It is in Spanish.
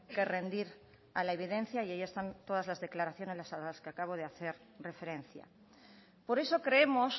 que rendir a la evidencia y ahí están todas las declaraciones a las que acabo de hacer referencia por eso creemos